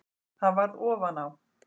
Það varð ofan á.